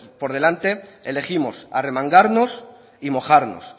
por delante elegimos arremangarnos y mojarnos